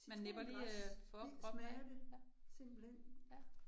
Man nipper lige øh for kroppen, ja, ja, ja